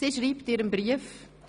Sie schreibt in Ihrem Brief: